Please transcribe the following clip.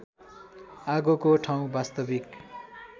आगोको ठाउँ वास्तविक